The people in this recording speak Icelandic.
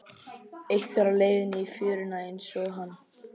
Einhver á leið í fjöruna einsog hann.